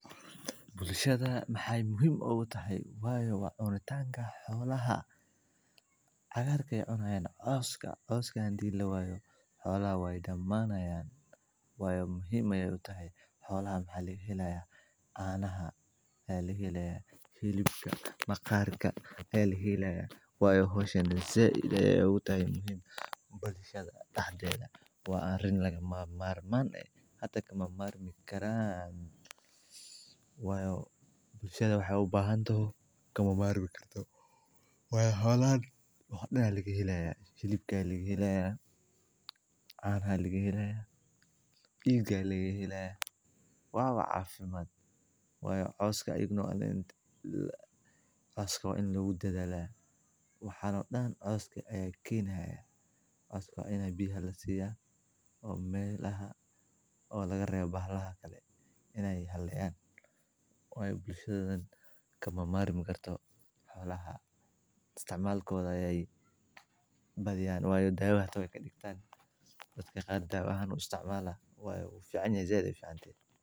Bulshada maxay muhiima u tahay? Way u wad oon tanga xoolaha hagaagaya oo naan oos ka oos ka dii loo waayo. Xoolo way dhammaanayaan. Way u muhiimayaa u tahay xoolo ahan hal iskahiilaya. Aanaha ay ligi hiileyen kilbka maqaarka ay ligi hiileyeen. Way hoos u dhinteen inay u tahay muhim bulshada taabjela waa rin lagama maarmaan. Xata kama maarmi karaan? Way bulshada waxay u baahan toho kama maarmi karto. Waa xoolo oo dhacda laga helayaa shiliga laga helayaa aan haligi helayaa biigga laga helayaa. Waa wac afimaad? Way u oos ka ignoorin la. Oos kaw in la wada hadalay. Waxa noo dhan oo ay kiina hayeen. Oos kaw inay biyo la siiya oo meelaha oo laga reebo baxlo ha kale inay helaan. Way bulshadan kama maarmi karto xoolaha. Istcmaalkood ayay badiyaan way dhaawacdo inay ka dhigtaan. Dadka qaar dhaawac u isticmaala way fiican yahay zeed ay fiican tiir.